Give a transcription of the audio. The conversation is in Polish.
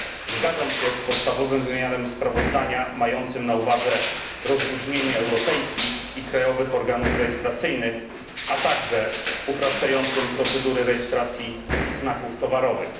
Zgadzam się z podstawowym wymiarem sprawozdania mającym na uwadze rozróżnienie europejskich i krajowych organów rejestracyjnych, a także uproszczającym procedury rejestracji znaków towarowych.